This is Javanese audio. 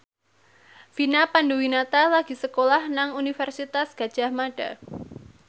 Vina Panduwinata lagi sekolah nang Universitas Gadjah Mada